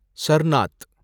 ஷர்னாத்